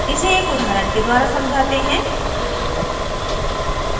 इसे एक उदाहरण के द्वारा समझाते हैं